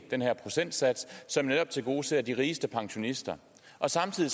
den her procentsats som netop tilgodeser de rigeste pensionister samtidig